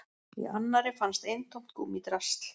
Í annarri fannst eintómt gúmmídrasl